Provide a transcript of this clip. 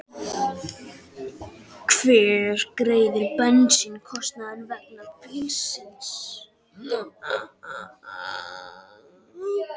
Hver greiðir bensínkostnað vegna bílsins?